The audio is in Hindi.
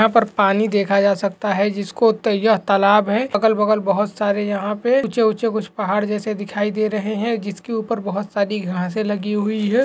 यहाँ पर पानी देखा जा सकता है जिसको तय तालाब है अगल-बगल बहुत सारे यहाँ पे उचे उचे कुछ पहाड़ जैसे दिखाई दे रहे है जिसके उपर बहुत सारी घासे लगी हुई है।